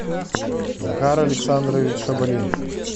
захар александрович шабалин